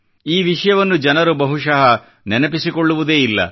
ಈ ವಿಷಯವನ್ನು ಜನರು ಬಹುಶಃ ನೆನಪಿಸಿಕೊಳ್ಳುವುದೇ ಇಲ್ಲ